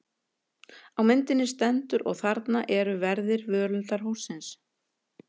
Á myndinni stendur: Og þarna eru verðir völundarhússins.